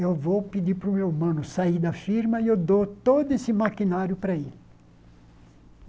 Eu vou pedir para o meu mano sair da firma e eu dou todo esse maquinário para ele.